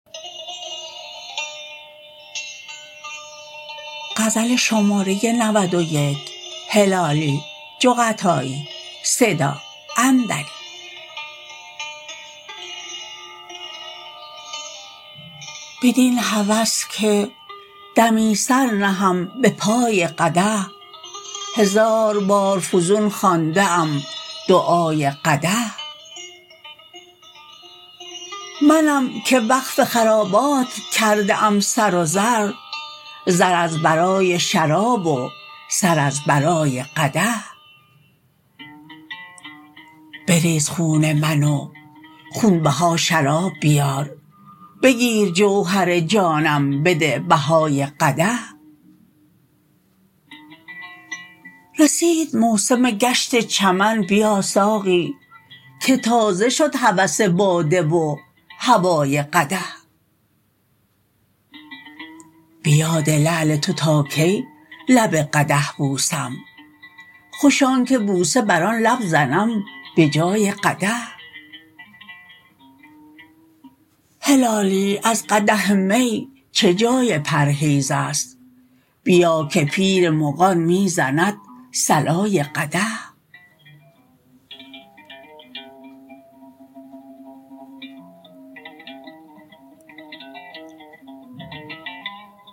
بدین هوس که دمی سر نهم بپای قدح هزار بار فزون خوانده ام دعای قدح منم که وقف خرابات کرده ام سر و زر زر از برای شراب و سر از برای قدح بزیر خون من و خون بها شراب بیار بگیر جوهر جانم بده بهای قدح رسید موسم گشت چمن بیا ساقی که تازه شد هوس باده و هوای قدح بیاد لعل تو تا کی لب قدح بوسم خوش آنکه بوسه بر آن لب زنم بجای قدح هلالی از قدح می چه جای پرهیزست بیا که پیر مغان میزند صلای قدح